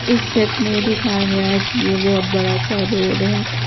इस सेट में दिखाया गया है कि ए बहोत बड़ा सा रोड है।